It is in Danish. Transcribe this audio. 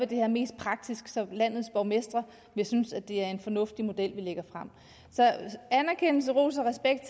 det her mest praktisk så landets borgmestre vil synes at det er en fornuftig model vi lægger frem så anerkendelse ros og respekt